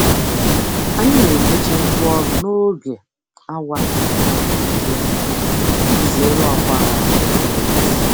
Anyị na-emechi ngwaọrụ n'oge awa um dị jụụ iji zere ọgba aghara na-enweghị isi.